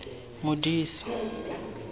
modisa